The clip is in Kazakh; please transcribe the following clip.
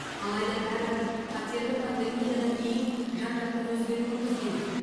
алайда бәрібір қатерлі пандемиядан кейін жан жақты өзгеруіміз керек